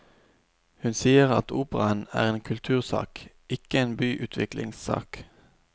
Hun sier at operaen er en kultursak, ikke en byutviklingssak.